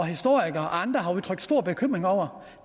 historikere og andre har udtrykt stor bekymring over